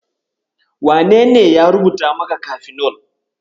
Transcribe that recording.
Wanene ya rubuta maka kafinol?